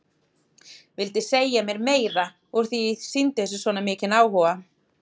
Vildi segja mér meira úr því að ég sýndi þessu svona mikinn áhuga.